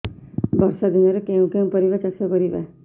ବର୍ଷା ଦିନରେ କେଉଁ କେଉଁ ପରିବା ଚାଷ କରିବା